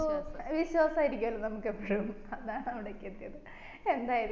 വിശ്വാസം ആയിരിക്കുവല്ലോ നമ്മക്ക് എപ്പോഴും അതാണ് അവിടേക്ക് എത്തിയത്